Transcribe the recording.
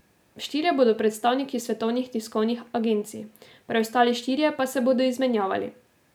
Štirje bodo predstavniki svetovnih tiskovnih agencij, preostali štirje pa se bodo izmenjevali.